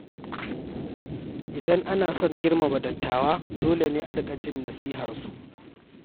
Idan ana son girmama dattawa, dole ne a riƙa jin nasiharsu.